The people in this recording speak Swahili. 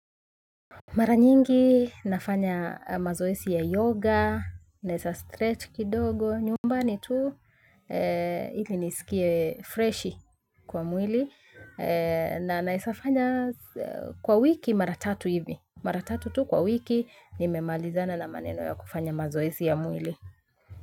Mara nyingi, nafanya mazoesi ya yoga, naesa stretch kidogo, nyumbani tu, ili nisikie freshi kwa mwili, na naesa fanya kwa wiki mara tatu hivi. Mara tatu tu kwa wiki, nimemalizana na maneno ya kufanya mazoesi ya mwili.